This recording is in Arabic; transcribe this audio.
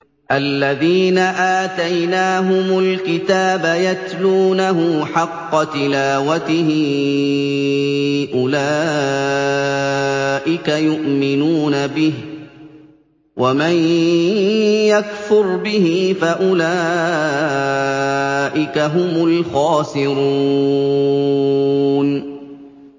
الَّذِينَ آتَيْنَاهُمُ الْكِتَابَ يَتْلُونَهُ حَقَّ تِلَاوَتِهِ أُولَٰئِكَ يُؤْمِنُونَ بِهِ ۗ وَمَن يَكْفُرْ بِهِ فَأُولَٰئِكَ هُمُ الْخَاسِرُونَ